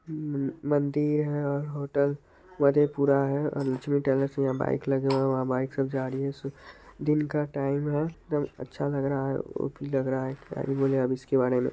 मंदिर है और होटल मधेपुरा है लक्ष्मी टेलर्स यहाँ बाइक लगे हुए है वहाँ बाइक सब जा रही है दिन का टाइम है एकदम अच्छा लग रहा है ओ_पी लग रहा है क्या ही बोले इसके बारे मे।